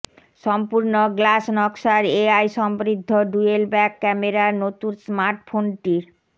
সম্পূর্ণ গ্লাস নকশার এআই সমৃদ্ধ ডুয়েল ব্যাক ক্যামেরার নতুন স্মার্টফোনটির